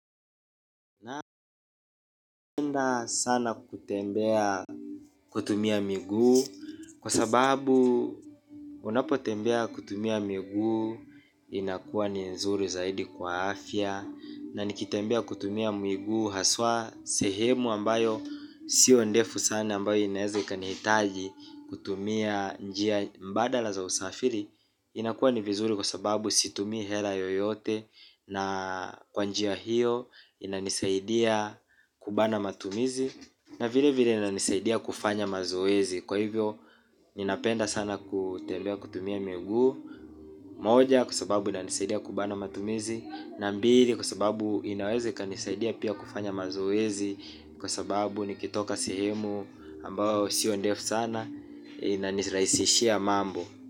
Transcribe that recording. Napenda sana kutembea kutumia miguu kwa sababu unapo tembea kutumia miguu inakuwa ni nzuri zaidi kwa afya na nikitembea kutumia miguu haswa sehemu ambayo sio ndefu sana ambayo inaeze ikanihitaji kutumia njia mbadala za usafiri. Inakuwa ni vizuri kwa sababu situmii hela yoyote na kwa njia hiyo inanisaidia kubana matumizi na vile vile inanisaidia kufanya mazoezi kwa hivyo ninapenda sana kutembea kutumia miguu. Moja kwa sababu inanisaidia kubana matumizi. Na mbili kwa sababu inaweze ikanisaidia pia kufanya mazoezi. Kwa sababu nikitoka sehemu ambayo siyo ndefu sana inaniraisishia mambo.